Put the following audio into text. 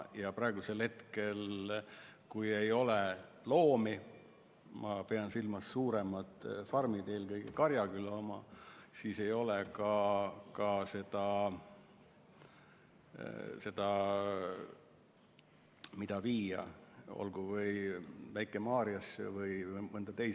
Ja praegu, kui ei ole loomi – ma pean silmas suuremaid farme, eelkõige Karjaküla oma –, ei ole ka seda, mida viia kas Väike-Maarjasse või mujale.